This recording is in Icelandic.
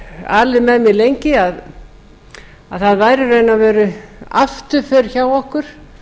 alið með mér lengi að það væri í raun og veru afturför hjá okkur